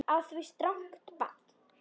Á því strangt bann.